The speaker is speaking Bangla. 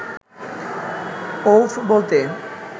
অউব বলতে